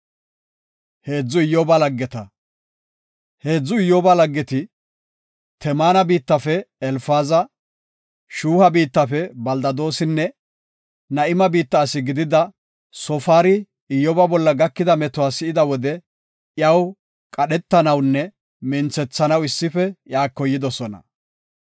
Heedzu Iyyoba laggeti, Temaana biittafe Elfaazi, Shuuha biittafe Beldadoosinne Na7ima biitta asi gidida Soofari Iyyoba bolla gakida metuwa si7ida wode iyaw qadhetanawunne minthethanaw issife iyako yidosona.